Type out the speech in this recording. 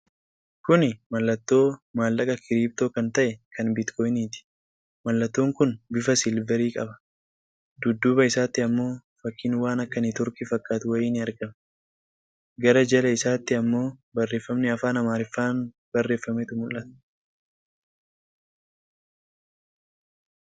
Kuni mallattoo maallaqa kiribtoo kan ta'e kan Biitcooyiniiti. Mallattoon kun bifa silvarii qaba. Dudduuba isaatti ammoo fakkiin waan akka networkii fakkaatu wayii ni argama. Gara jala isaatti ammoo barreefami Afaan Amaariffaan barreefametu mul'ata.